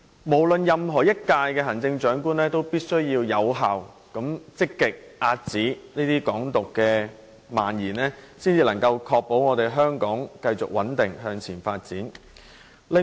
無論哪一屆行政長官，也必須有效、積極地遏止"港獨"蔓延，才能確保香港得以繼續穩定發展。